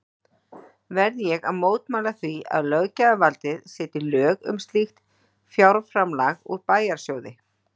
Verð ég að mótmæla því, að löggjafarvaldið setji lög um slíkt fjárframlag úr bæjarsjóði